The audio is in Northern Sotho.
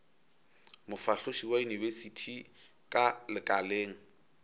mofahloši wa yunibesithi ka lekaleng